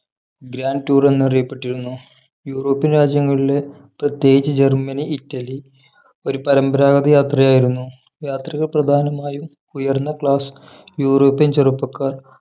Grand Tour എന്നറിയപ്പെട്ടിരുന്നു European രാജ്യങ്ങളിലെ പ്രത്യേകിച്ച് ജർമ്മനി ഇറ്റലി ഒരു പരമ്പരാഗത യാത്രയായിരുന്നു യാത്രികർ പ്രധാനമായും ഉയർന്ന class യൂറോപ്യൻ ചെറുപ്പക്കാർ